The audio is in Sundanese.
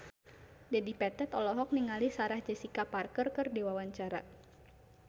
Dedi Petet olohok ningali Sarah Jessica Parker keur diwawancara